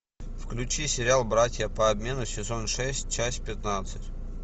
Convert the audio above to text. включи сериал братья по обмену сезон шесть часть пятнадцать